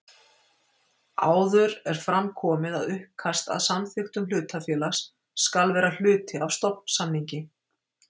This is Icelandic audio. Áður er fram komið að uppkast að samþykktum hlutafélags skal vera hluti af stofnsamningi.